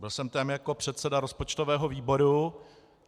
Byl jsem tam jako předseda rozpočtového výboru.